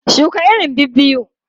Shuka irin biyu biyu!